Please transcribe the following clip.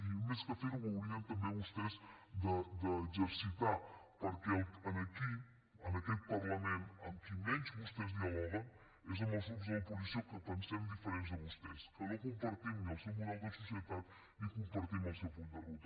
i més que fer ho ho haurien també vostès d’exercitar perquè aquí en aquest parlament amb qui menys vostès dialoguen és amb els grups de l’oposició que pensem diferent de vostès que no compartim ni el seu model de societat ni compartim el seu full de ruta